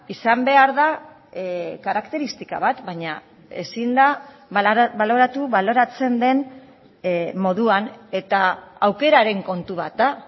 izan behar da karakteristika bat baina ezin da baloratu baloratzen den moduan eta aukeraren kontu bat da